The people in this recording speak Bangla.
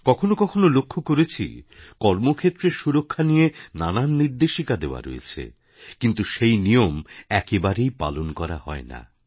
কখনও কখনও লক্ষ্য করেছি কর্মক্ষেত্রে সুরক্ষা নিয়ে নানান নির্দেশিকা দেওয়া রয়েছে কিন্তু সেই নিয়ম একেবারেই পালন করা হয় না